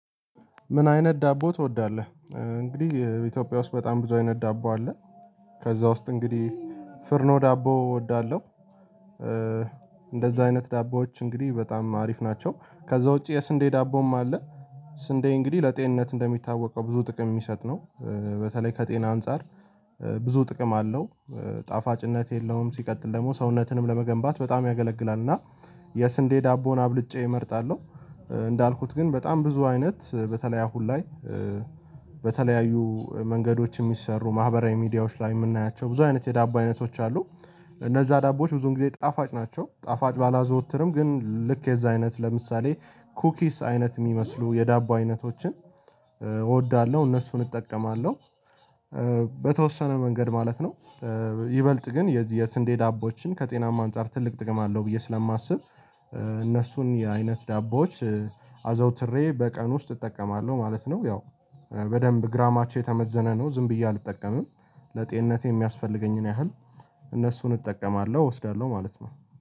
ምን አይነት ዳቦ ትወዳለህ? እንግዲህ ኢትዮጵያ ውስጥ በጣም ብዙ አይነት ዳቦ አለ ከዛ ውስጥ እንግዲህ ፍርኖ ዳቦ እወዳለሁ እንደዛ አይነት ዳቦዎች እንግዲህ በጣም አሪፍ ናቸው ከዛ ውጪ የስንዴ ዳቦም አለ ስንዴ እንግዲህ ለጤንነት እንደሚታወቀው ብዙ ጥቅም የሚሰጥ ነው በተለይ ከጤና አንፃር ብዙ ጥቅም አለው ጣፋጭነት የለውም ሲቀጥል ደግሞ ሰውነትንም ለመገንባት በጣም ያገለግላል እና የስንዴ ዳቦን አብልጬ እመርጣለሁ እንዳልኩት ግን በጣም ብዙ አይነት በተለይ አሁን ላይ በተለያዩ መንገዶች የሚሰሩ ማህበራዊ ሚዲያዎች ላይ የምናያቸው ብዙ አይነት የዳቦ አይነቶች አሉ፤ እነዛ ዳቦዎች ብዙ ጊዜ ጣፋጭ ናቸው ጣፋጭ ባላዘወትርም ግን ልክ የዛ አይነት ለምሳሌ ኩኪስ አይነት የሚመስሉ የዳቦ አይነቶችን እወዳለሁ እነሱን እጠቀማለሁ በተወሰነ መንገድ ማለት ነው ይበልጥ ግን የዚህ የስንዴ ዳቦችን ከጤናማ አንፃር ትልቅ ጥቅም አለው ብዬ ስለማስብ እነሱን የአይነት ዳቦዎች አዘውትሬ በቀን ውስጥ እጠቀማለሁ ማለት ነው፤ ያው በደንብ ግራማቸው የተመዘነ ነው ዝም ብዬ አልጠቀምም ለጤንነቴ የሚያስፈልገኝን ያህል እነሱን እጠቀማለሁ እወስዳለሁ ማለት ነው